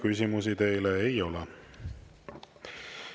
Küsimusi teile ei ole.